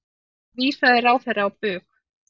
Því vísaði ráðherra á bug.